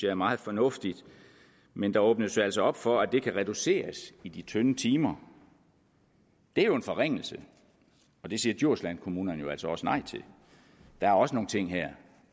er meget fornuftigt men der åbnes jo altså op for at det kan reduceres i de tynde timer det er jo en forringelse og det siger djurslandkommunerne jo altså også nej til der er også nogle ting her